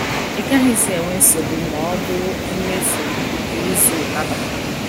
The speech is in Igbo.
Ị gaghịzi enwe nsogbu ma ọ bụ mmefu nke ịzụ ụtaba.